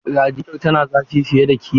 Radiyeton motar tana zafi fiye da kima.